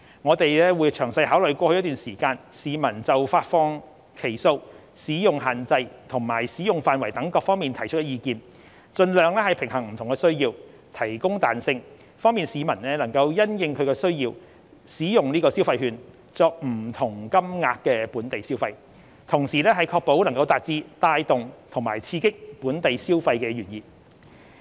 我們會詳細考慮過去一段時間市民就發放期數、使用限制及使用範圍等各方面提出的意見，盡量平衡不同的需要，提供彈性，方便市民能夠因應其需要使用消費券作不同金額的本地消費，同時確保能達致帶動及刺激本地消費的原意。